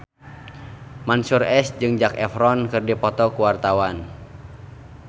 Mansyur S jeung Zac Efron keur dipoto ku wartawan